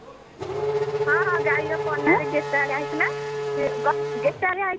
ହଁ ହଁ ଗାଈର ପହ୍ନା ରେ ଗେଟାଳିଆ ହେଇଥିଲା ଗେଟାଳିଆ ହେଇଥିଲା